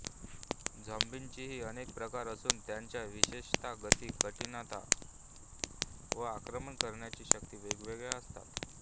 झोम्बींचेही अनेक प्रकार असून त्यांच्या विशेषता गती कठीणता व आक्रमण करण्याची शक्ती वेगवेगळ्या असतात